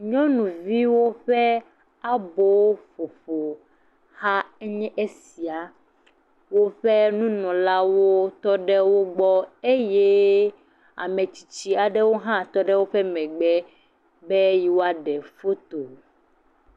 Nyɔnuviwo ƒe aboƒoƒohae nye esia. Woƒe nunɔlawo tɔ ɖe wogbɔ. Eyeee ame tsitsi aɖewo hã tɔ ɖe woƒe megbe be yewoaɖe foto.